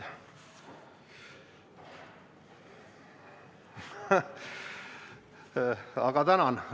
Aga tänan!